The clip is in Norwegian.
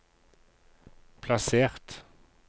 plassert